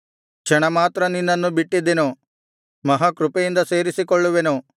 ಕ್ಷಣಮಾತ್ರ ನಿನ್ನನ್ನು ಬಿಟ್ಟಿದ್ದೆನು ಮಹಾ ಕೃಪೆಯಿಂದ ಸೇರಿಸಿಕೊಳ್ಳುವೆನು